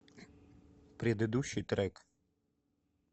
предыдущий трек